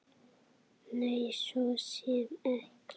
Nei, svo sem ekki.